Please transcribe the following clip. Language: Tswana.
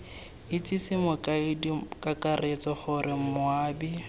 itsese mokaedi kakaretso gore moabi